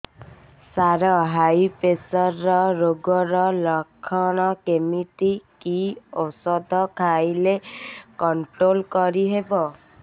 ସାର high pressure ରୋଗର ଲଖଣ କେମିତି କି ଓଷଧ ଖାଇଲେ କଂଟ୍ରୋଲ କରିହେବ